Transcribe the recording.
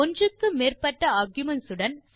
ஒன்றுக்கு மேற்பட்ட ஆர்குமென்ட்ஸ் உடன்